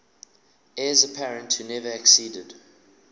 heirs apparent who never acceded